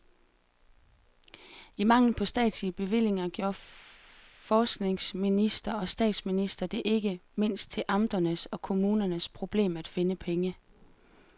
I mangel på statslige bevillinger gjorde forskningsminister og statsminister det ikke mindst til amternes og kommunernes problem at finde pengene.